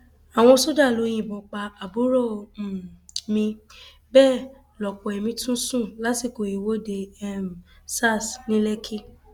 àwọn sójà ló yìnbọn pa àbúrò um mi bẹẹ lọpọ èmi tún sùn lásìkò ìwọde um sars ní lẹkì